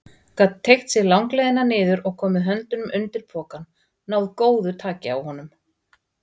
Gat teygt sig langleiðina niður og komið höndunum undir pokann, náð góðu taki á honum.